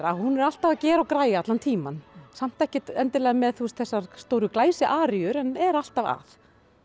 hún er alltaf að gera og græja allan tímann samt ekki með þessar glæsiaríur en er alltaf að